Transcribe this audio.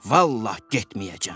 Vallah getməyəcəm.